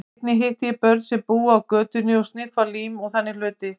Einnig hitti ég börn sem búa á götunni og sniffa lím og þannig hluti.